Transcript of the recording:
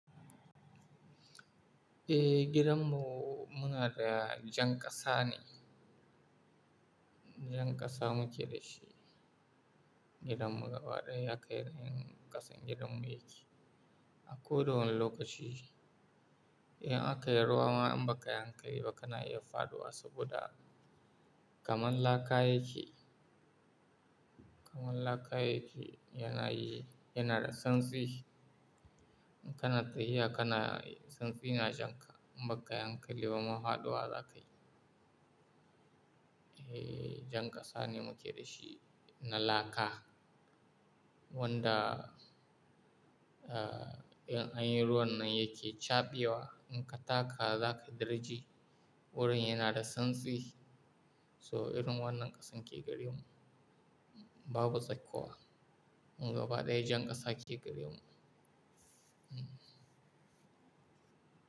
Eh, gidanmu muna da jan ƙasa ne. Jan ƙasa muke da shi. Gidanmu gaba ɗaya ya ƙayr, ƙasan gidanmu yake. A koda wani lokaci, in aka yi ruwa ma in ba ka yi hankali ba kana iya faɗuwa saboda kamar laka yake. Kamar laka yake yana yi, yana da santsi. In kana tsayi haka na, santsi yana jan ka. In ba ka yi hankali ba ma faɗuwa za ka yi. Eh, jan ƙasa ne muke da shi na laka wanda, ah, in an yi ruwan nan yake caɓewa. In ka taka, za ka daraje. Wurin yana da santsi. So irin wannan ƙasan ke gari mu. Babu tsakkowa. Gaba ɗaya jan ƙasa ke gari mu. Hmm.